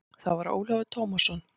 Það var Ólafur Tómasson.